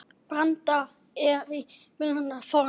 Branda er íþrótt býsna forn.